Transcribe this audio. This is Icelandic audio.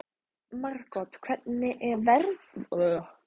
Margot, hvernig er veðrið á morgun?